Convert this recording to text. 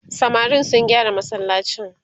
samarin sun gyara masallacin